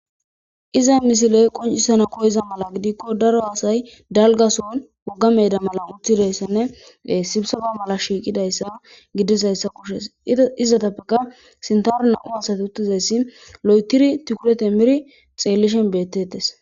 Iza misiley qoncisana koyiza mala gidikko daro hasay dalgason wogga meeda mala uthidayssanne sibisaba mala shiiqidayssa gidisayssa kushes izzatappeka sintaro na7u hasati uttizayssi lo7etiri tukure timiri xeellishen bettettes